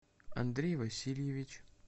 андрей васильевич